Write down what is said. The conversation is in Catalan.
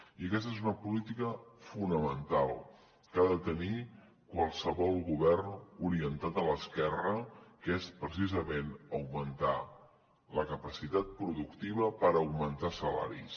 i aquesta és una política fonamental que ha de tenir qualsevol govern orientat a l’esquerra que és precisament augmentar la capacitat productiva per augmentar salaris